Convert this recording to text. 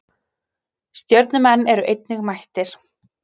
Stjörnumenn eru einnig mættir.